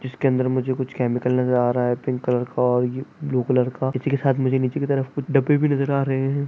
इसके अंदर मुझे कुछ केमिकल नजर आ रहा है पिंक कलर का और ब्लू कलर का इसी के साथ मुझे नीचे की तरफ आ रहें हैं।